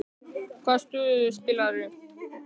Hvaða stöðu spilaðirðu?